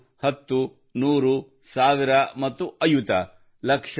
ಒಂದು ಹತ್ತು ನೂರು ಸಾವಿರ ಮತ್ತು ಅಯುತ